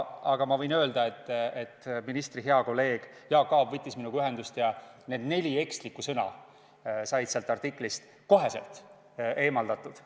Aga ma võin öelda, et ministri hea kolleeg Jaak Aab võttis minuga ühendust ja need neli ekslikku sõna said sealt artiklist kohe eemaldatud.